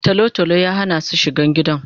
Talo talo ya hana su shiga gidan